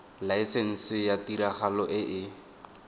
laesense ya tiragalo e e